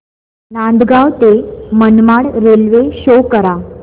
नांदगाव ते Manmad railway show करा